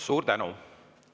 Suur tänu!